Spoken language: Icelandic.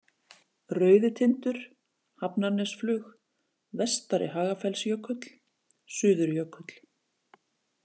Rauðitindur, Hafnarnesflug, Vestari-Hagafellsjökull, Suðurjökull